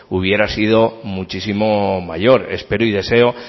hubiera sido muchísimo mayor espero y deseo